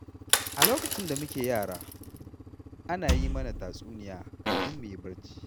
A lokacin da muke yara, ana yi mana tatsuniya kafin mu yi barci.